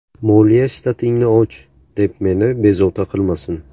Moliya shtatingni och, deb meni bezovta qilmasin.